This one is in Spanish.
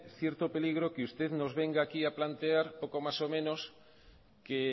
cierto peligro que usted nos venga aquí a plantear poco más o menos que